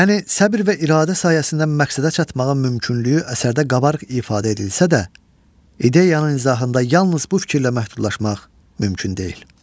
Yəni səbr və iradə sayəsində məqsədə çatmağın mümkünlüyü əsərdə qabarıq ifadə edilsə də, ideyanın izahında yalnız bu fikirlə məhdudlaşmaq mümkün deyil.